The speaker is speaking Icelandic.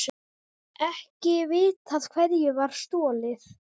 Ekki vitað hverju var stolið